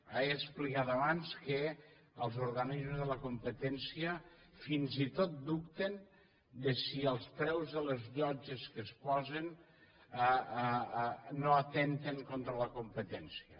he explicat abans que els organismes de la competència fins i tot dubten si els preus de les llotges que es posen no atempten contra la competència